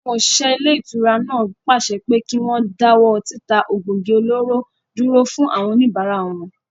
Àwọn òṣìṣẹ́ ilé-ìtura náà pàṣẹ pé kí wọ́n dáwọ́ títa egbògi olóró dúró fún àwọn òníbárà wọn